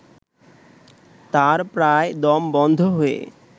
তার প্রায় দম বন্ধ হয়ে